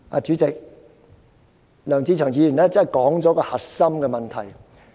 "主席，梁志祥議員真的道出核心問題。